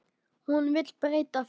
Hún vill breyta því.